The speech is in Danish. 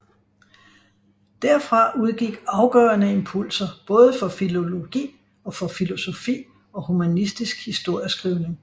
Derfra udgik afgørende impulser både for filologi og for filosofi og humanistisk historieskrivning